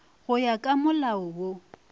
go ya ka molao wo